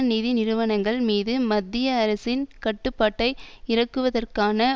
நிதி நிறுவனங்கள் மீது மத்திய அரசின் கட்டுப்பாட்டை இறுக்குவதற்கான